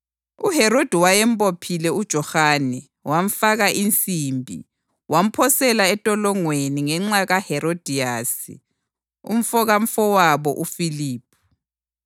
UHerodi wayembophile uJohane, wamfaka insimbi, wamphosela entolongweni ngenxa kaHerodiyasi, umkamfowabo uFiliphu,